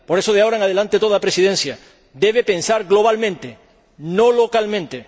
Por eso, de ahora en adelante, toda Presidencia debe pensar globalmente, no localmente.